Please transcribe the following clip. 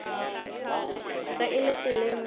ge e le tseleng ya